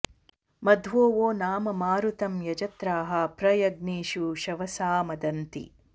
मध्वो वो नाम मारुतं यजत्राः प्र यज्ञेषु शवसा मदन्ति